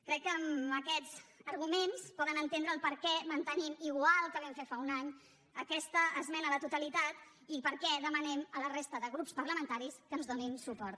crec que amb aquests arguments poden entendre el perquè mantenim igual que vam fer fa un any aquesta esmena a la totalitat i per què demanem a la resta de grups parlamentaris que ens donin suport